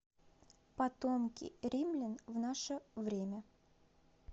потомки римлян в наше время